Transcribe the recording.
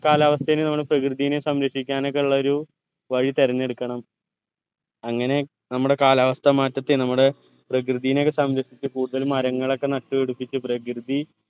കാലാവസ്ഥയെനും നമ്മള് പ്രകൃതിനെയും സംരക്ഷിക്കാനൊക്കെള്ളരു വഴി തെരഞ്ഞെടുക്കണം അങ്ങനെ നമ്മുടെ കാലാവസ്ഥ മാറ്റത്തെ നമ്മുടെ പ്രകൃതിനെയൊക്കെ സംരക്ഷിച്ച് കൂടുതൽ മരങ്ങളൊക്കെ നട്ടു പിടിപ്പിച്ച് പ്രകൃതി